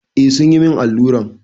Eh sun yi min alluran.